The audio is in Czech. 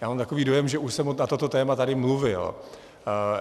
Já mám takový dojem, že už jsem na toto téma tady mluvil.